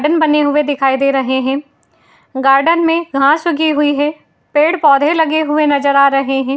Done बने हुए दिखाई दे रहे हैं। गार्डन में घास उगी हुई हैं। पेड़-पौधे लगे हुए नजर आ रहे हैं।